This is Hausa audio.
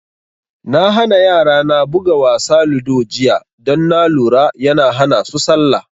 Na hana yara na buga wasa ludo jiya don na lura yana hana su salla